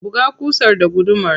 Buga ƙusar da gudumar.